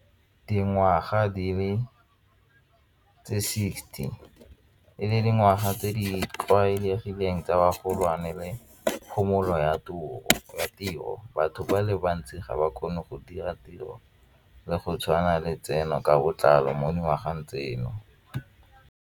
Dingwaga di le tse sixty e le dingwaga tse di tlwaelegileng tsa bagolwane le phomolo ya tiro batho ba le bantsi ga ba kgone go dira tiro le go tshwana letseno ka botlalo mo dingwageng tseno.